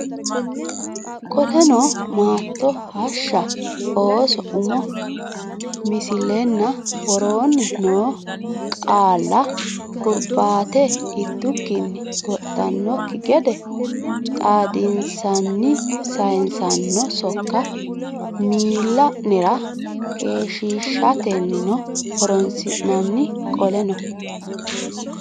Qoleno maatto hashsha ooso umo misilenna woroonni noo qaalla hurbaate ittukkinni goxxannokki gede xaadissinanni sayissanno sokka miilla nera keeshshiishateno horoonsi nanni Qoleno.